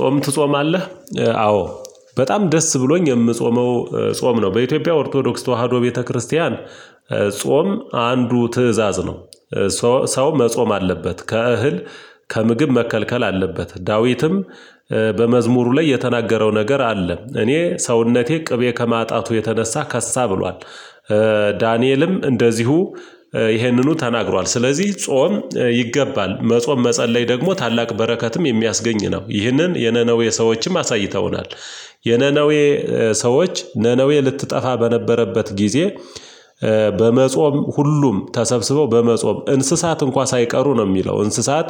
ጾም ትጾማለህ? አዎ። በጣም ደስ ብሎኝ የምጾመው ጾም ነው በኢትዮጵያ ኦርቶዶክስ ተዋህዶ ቤተክርስቲያን። ጾም አንዱ ትእዛዝ ነው። ሰው መጾም አለበት ከእህል ከምግብ መከልከል አለበት ዳዊትም በመዝሙሩ ላይ የተናገረው ነገር አለ እኔ ሰውነቴ ቅቤ ከማጣቱ የተነሳ ከሳ ብሏል። ዳንኤልም እንደዚሁ ይሄንኑ ተናግሯል። ስለዚህ ጾም ይገባል መጾም መጸለይ ደግሞ ታላቅ በረከትም የሚያስገኝ ነው። ይህንን የነነዌ ሰዎችም አሳይተውናል። የነነዌ ሰዎች ነነዌ ልትጠፋ በነበረበት ጊዜ። በመጾም ሁሉም ተሰብስበው በመጾም እንስሳት እንኳን ሳይቀሩ ነው የሚለው እንስሳት።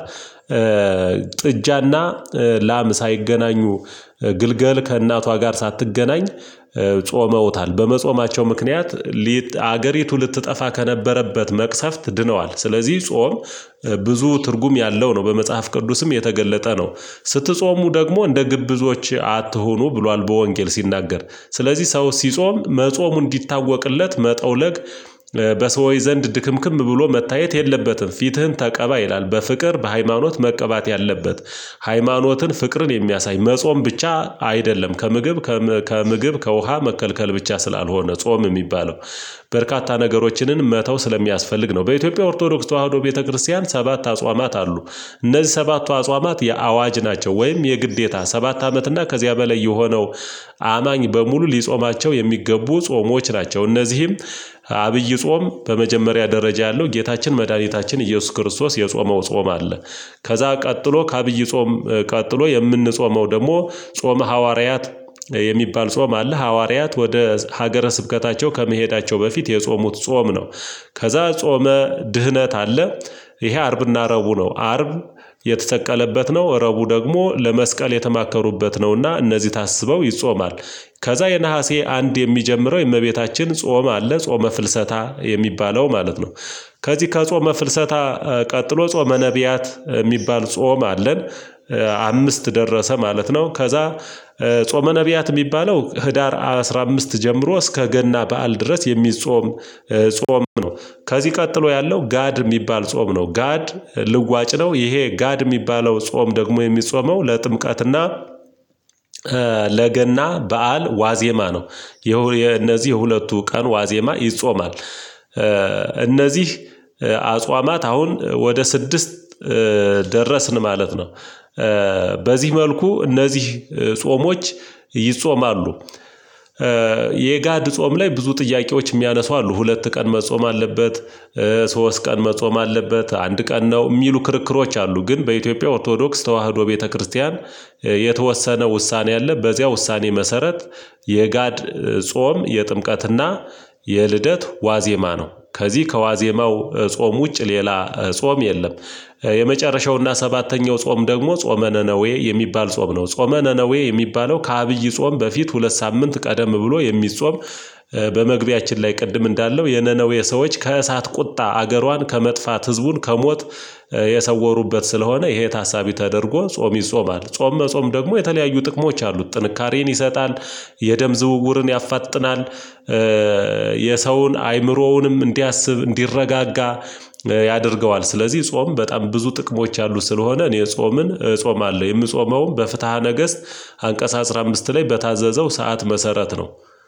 ጥጃና ላም ሳይገናኙ ግልገል ከእናቷ ጋር ሳትገናኝ ጾመውታል። በመጾማቸው ምክንያት ሊት አገሪቱ ልትጠፋ ከነበረበት መቅሰፍት ድነዋል። ስለዚህ ጾም ብዙ ትርጉም ያለው ነው። በመጽሐፍ ቅዱስም የተገለጠ ነው። ስትጾሙ ደግሞ እንደ ግብዞች አትሁኑ ብሏል በወንጌል ሲናገር ስለዚህ ሰው ሲጾም መጾሙ እንዲታወቅለት መጠውለቅ በሰው ዘንድ ድክምክም ብሎ መታየት የለበትም። ፊትህን ተቀባ ይላል በፍቅር በሃይማኖት መቀባት ያለበት። ሃይማኖትን ፍቅርን የሚያሳይ መጾም ብቻ አይደለም። ከምግብ ከምግብ ከውሃ መከልከል ብቻ ስላልሆነ ጾም የሚባለው በርካታ ነገሮችንን መተው ስለሚያስፈልግ ነው። በኢትዮጵያ ኦርቶዶክስ ተዋህዶ ቤተክርስቲያን ሰባት አጽዋማት አሉ። እነዚህ ሰባቱ አጽዋማት የአዋጅ ናቸው ወይም የግዴታ ሰባት አመት እና ከዚያ በላይ የሆነው አማኝ በሙሉ ሊጾማቸው የሚገቡ ጾሞች ናቸው። እነዚህም አብይ ጾም በመጀመሪያ ደረጃ ያለው ጌታችን መድኃኒታችን ኢየሱስ ክርስቶስ የጾመው ጾም አለ። ከዛ ቀጥሎ ከአብይ ጾም ቀጥሎ የምንጾመው ደግሞ ጾመ ሐዋርያት የሚባል ጾም አለ። ሐዋርያት ወደ ሀገረ ስብከታቸው ከመሄዳቸው በፊት የጾሙት ጾም ነው። ከዛ ጾመ ድህነት አለ። ይሄ አርብና ረቡ ነው አርብ የተሰቀለበት ነው ረቡ ደግሞ ለመስቀል የተማከሩበት ነውና እነዚህ ታስበው ይጾማል። ከዛ የነሀሴ አንድ የሚጀምረው የእመቤታችን ጾም አለ ጾመ ፍልሰታ የሚባለው ማለት ነው። ከዚህ ከጾመ ፍልሰታ ቀጥሎ ጾመ ነብያት የሚባል ጾም አለን። አምስት ደረሰ ማለት ነው ከዛ ጾመ ነብያት የሚባለው ህዳር አስራ አምስት ጀምሮ እስከ ገና በዓል ድረስ የሚጾም ጾም ነው። ከዚህ ቀጥሎ ያለው ጋድ የሚባል ጾም ነው። ጋድ ልዋጭ ነው ይሄ ጋድ የሚባለው ጾም ደግሞ የሚጾመው ለጥምቃትና ለገና በዓል ዋዜማ ነው። የእነዚህ ሁለቱ ቀን ዋዜማ ይጾማል። እነዚህ አጽዋማት አሁን ወደ ስድስት ደረስን ማለት ነው። በዚህ መልኩ እነዚህ ጾሞች ይጾማሉ። የጋድ ጾም ላይ ብዙ ጥያቄዎች የሚያነሱ አሉ ሁለት ቀን መጾም አለበት። ሶስት ቀን መጾም አለበት አንድ ቀን ነው የሚሉ ክርክሮች አሉ ግን በኢትዮጵያ ኦርቶዶክስ ተዋህዶ ቤተክርስቲያን የተወሰነ ውሳኔ አለ። በዚያ ውሳኔ መሰረት የጋድ ጾም የጥምቀትና የልደት ዋዜማ ነው። ከዚህ ከዋዜማው ጾም ውጭ ሌላ ጾም የለም። የመጨረሻውና ሰባተኛው ጾም ደግሞ ጾመ ነነዌ የሚባል ጾም ነው ጾመ ነነዌ የሚባለው ከአብይ ጾም በፊት ሁለት ሳምንት ቀደም ብሎ የሚጾም። በመግቢያችን ላይ ቅድም እንዳለው የነነዌ ሰዎች ከእሳት ቁጣ አገሯን ከመጥፋት ህዝቡን ከሞት የሰወሩበት ስለሆነ ይሄ ታሳቢ ተደርጎ ጾም ይጾማል ጾም መጾም ደግሞ የተለያዩ ጥቅሞች አሉት። ጥንካሬን ይሰጣል። የደም ዝውውርን ያፋጥናል። የሰውን አይምሮውንም እንዲያስብ እንዲረጋጋ ያደርገዋል። ስለዚህ ጾም በጣም ብዙ ጥቅሞች አሉ። ስለሆነ እኔ ጾምን ጾም አለ የምጾመውም በፍትሃ ነገስት አንቀጽ አስራ አምስት ላይ በታዘዘው ሰዓት መሰረት ነው።